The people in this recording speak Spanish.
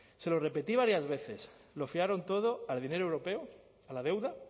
se lo repetí varias veces lo fiaron todo al dinero europeo a la deuda